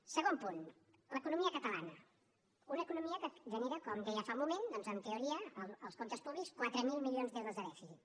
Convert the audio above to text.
segon punt l’economia catalana una economia que genera com deia fa un moment en teoria als comptes públics quatre mil milions d’euros de dèficit